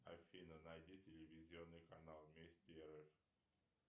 афина найди телевизионный канал вести рф